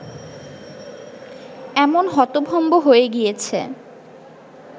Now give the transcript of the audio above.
এমন হতভম্ব হয়ে গিয়েছে